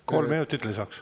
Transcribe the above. Kolm minutit lisaks.